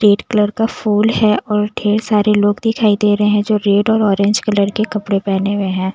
Red colour का फूल है और ढेर सारे लोग दिखाई दे रहे हैं जो रेड और ऑरेंज कलर के कपड़े पहने हुए हैं ।